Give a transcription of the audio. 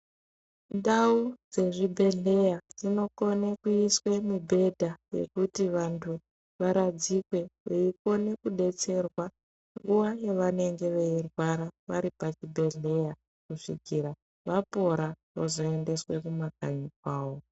Ndau dzezvibhedhleya dzino kona kuiswe mibhedha yekuti wandu waradzikwe, weikona kudetserwa nguwa yewainenge weirwara wari pachibhedhleya kusvikira wapora wozoendeswa kumakanyi kwawo.